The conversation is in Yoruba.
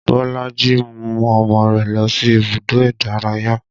Bolaji mú ọmọ rẹ̀ lọ sí ibùdó ìdárayá